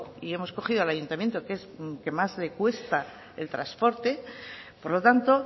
y hemos cogió al ayuntamiento que es al que más le cuesta el transporte por lo tanto